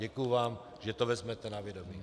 Děkuju vám, že to vezmete na vědomí.